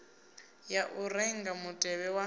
ya u renga mutevhe wa